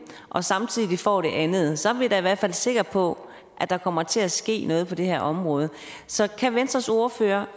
og samtidig får det andet så er vi da i hvert fald sikre på at der kommer til at ske noget på det her område så kan venstres ordfører